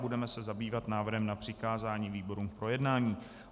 Budeme se zabývat návrhem na přikázání výborům k projednání.